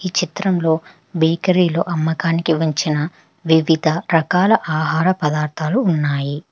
చిత్రంలో బేకరీ లో అమ్మకానికి ఉంచిన వివిధ రకాల ఆహార పదార్థాలు ఉన్నాయి.